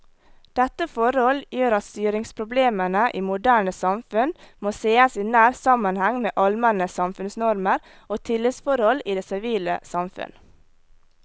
Dette forhold gjør at styringsproblemene i moderne samfunn må sees i nær sammenheng med allmenne samfunnsnormer og tillitsforhold i det sivile samfunn.